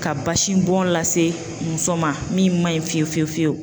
Ka basi bɔn lase muso ma, min ma ɲi fiyewu fiyewu fiyewu